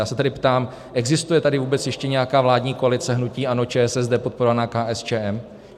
Já se tedy ptám, existuje tady vůbec ještě nějaká vládní koalice hnutí ANO, ČSSD podporovaná KSČM?